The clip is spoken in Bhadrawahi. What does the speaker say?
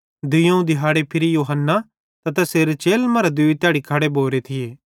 दुइयोवं दिहाड़े फिरी यूहन्ना त तैसेरे चेलन मरां दूई तैड़ी खड़े भोरे थिये